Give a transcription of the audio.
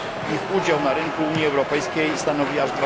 Ich udział w rynku Unii Europejskiej stanowi aż